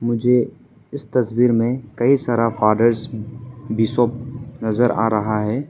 मुझे इस तस्वीर में कई सारा फादर बिशप नजर आ रहा है।